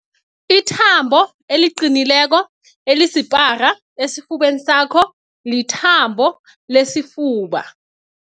Ithambo eliqinileko elisipara esifubeni sakho lithambo lesifuba.